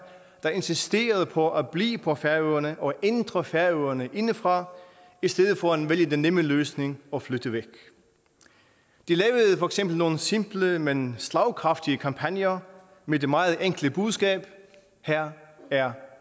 der insisterede på at blive på færøerne og ændre færøerne indefra i stedet for at vælge den nemme løsning og flytte væk de lavede for eksempel nogle simple men slagkraftige kampagner med det meget enkle budskab her er